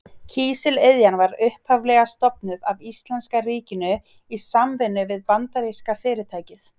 Kísiliðjan var upphaflega stofnuð af íslenska ríkinu í samvinnu við bandaríska fyrirtækið